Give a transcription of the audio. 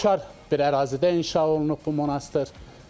Füsunkar bir ərazidə inşa olunub bu monastır.